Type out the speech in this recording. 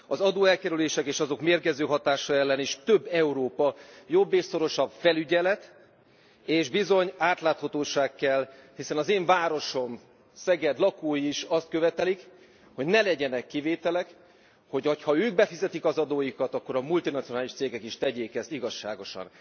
Az adóelkerülések és azok mérgező hatása ellen is több Európa, jobb és szorosabb felügyelet, és bizony átláthatóság kell, hiszen az én városom, Szeged, lakói is azt követelik, hogy ne legyenek kivételek, hogy ha ők befizetik az adóikat, akkor a multinacionális cégek is tegyék ezt igazságosan.